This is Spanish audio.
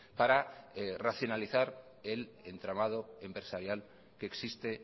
para racionalizar el entramado empresarial que existe